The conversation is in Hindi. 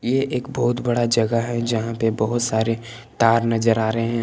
ये एक बहुत बड़ा जगह है यहां पे बहुत सारे तार नजर आ रहे हैं।